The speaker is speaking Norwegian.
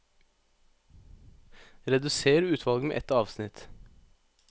Redusér utvalget med ett avsnitt